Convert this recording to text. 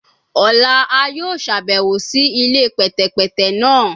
Ọla a yoo ṣabẹwo si ile pẹtẹpẹtẹ naa